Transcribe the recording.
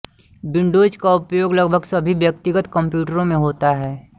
Windows का उपयोग लगभग सभी व्यक्तिगत कम्प्यूटरों में होता है